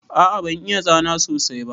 A'a ban iya zana sosai ba.